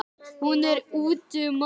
Hún er úti um allt.